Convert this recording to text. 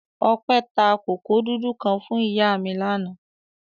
Ọpẹ́ ta kòkó dúdú kan fún ìyá mi lánàá.